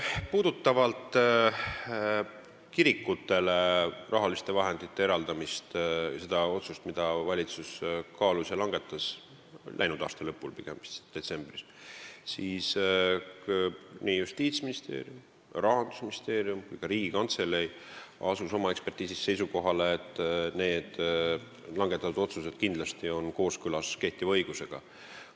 Mis puudutab kirikutele rahaliste vahendite eraldamist – seda otsust, mida valitsus kaalus ja langetas, läinud aasta lõpus, vist detsembris –, siis Justiitsministeerium, Rahandusministeerium ja ka Riigikantselei asusid seisukohale, et see on kindlasti kooskõlas kehtiva õigusega.